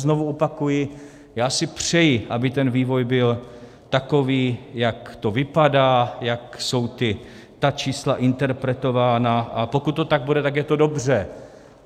Znovu opakuji, já si přeji, aby ten vývoj byl takový, jak to vypadá, jak jsou ta čísla interpretována, a pokud to tak bude, tak je to dobře.